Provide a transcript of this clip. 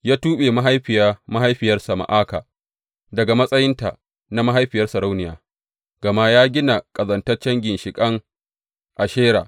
Ya tuɓe mahaifiya mahaifiyarsa Ma’aka daga matsayinta na mahaifiyar sarauniya, gama ta gina ƙazantaccen ginshiƙin Ashera.